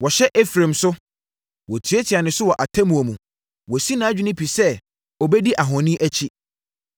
Wɔhyɛ Efraim so, wɔtiatia ne so wɔ atemmuo mu, wasi nʼadwene pi sɛ ɔbɛdi ahoni akyi.